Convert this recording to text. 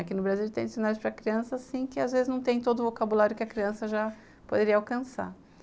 Aqui no Brasil tem dicionário para criança assim, que às vezes não tem todo o vocabulário que a criança já poderia alcançar.